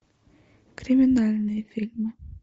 криминальные фильмы